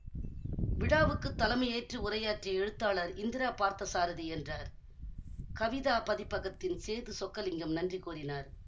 விழாவுக்குத் தலைமையேற்று உரையாற்றிய எழுத்தாளர் இந்திரா பார்த்தசாரதி என்றார் கவிதா பதிப்பகத்தின் சேது சொக்கலிங்கம் நன்றி கூறினார்